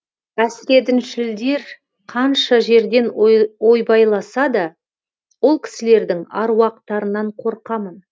әсіредіншілдер қанша жерден ойбайласа да ол кісілердің аруақтарынан қорқамын